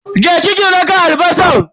Je ki ki daka albasan.